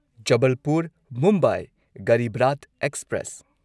Jabalpur Mumbai Garib Rath express